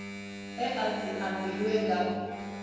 e a si ambiwe nga